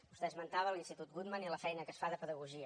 vostè esmentava l’institut guttmann i la feina que es fa de pedagogia